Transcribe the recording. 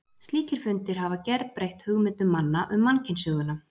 Slíkir fundir hafa gerbreytt hugmyndum manna um mannkynssöguna.